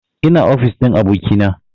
Ina ofis ɗin abokina